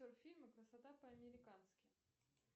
фильм красота по американски